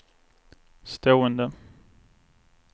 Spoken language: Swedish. stående